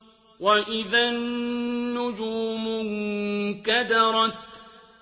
وَإِذَا النُّجُومُ انكَدَرَتْ